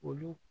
Olu